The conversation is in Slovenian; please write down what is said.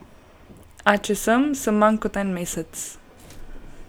A če sem, sem manj kot en mesec.